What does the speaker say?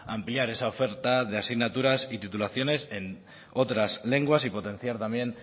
ampliar esa oferta de asignaturas y titulaciones en otras lenguas y potenciar también